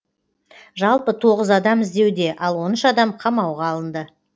жалпы тоғыз адам іздеуде ал он үш адам қамауға алынды